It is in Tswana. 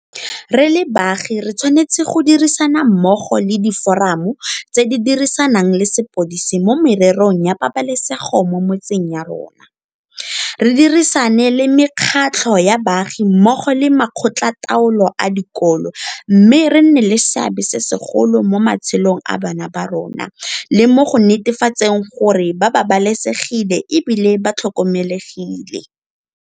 Re le baagi re tshwanetse go dirisana mmogo le Diforamo tse di Dirisanang le Sepodisi mo Mererong ya Pabalesego mo Metseng ya rona, re dirisane le mekgatlho ya baagi mmogo le makgotlataolo a dikolo mme re nne le seabe se segolo mo matshelong a bana ba rona le mo go netefatseng gore ba babalesegile e bile ba tlhokomelegile.